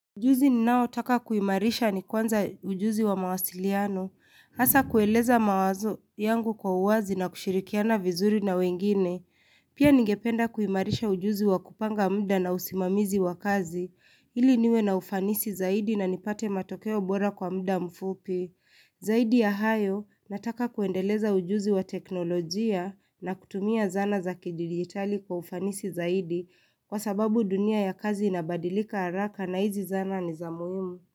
Ujuzi ni nao taka kuimarisha ni kwanza ujuzi wa mawasiliano, hasa kueleza mawazo yangu kwa uwazi na kushirikiana vizuri na wengine. Pia ningependa kuimarisha ujuzi wa kupanga muda na usimamizi wa kazi, ili niwe na ufanisi zaidi na nipate matokeo bora kwa muda mfupi. Zaidi ya hayo, nataka kuendeleza ujuzi wa teknolojia na kutumia zana za kidigitali kwa ufanisi zaidi kwa sababu dunia ya kazi inabadilika haraka na hizi zana ni za muhimu.